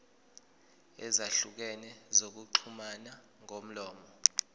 ezahlukene zokuxhumana ngomlomo